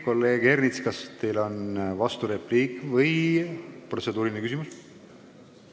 Kolleeg Ernits, kas teil on vasturepliik või protseduuriline küsimus?